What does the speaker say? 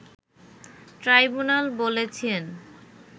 tribunal বলেছেন